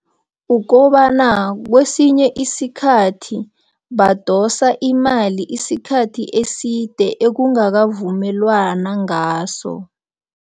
Ukobana kwesinye isikhathi badosa imali isikhathi eside ekungakavumelwana ngaso.